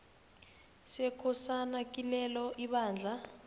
sekosana kilelo ibandla